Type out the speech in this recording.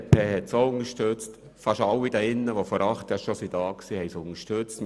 Die BDP hat das auch unterstützt, ebenso wie fast alle hier im Grossen Rat, die damals dabei waren.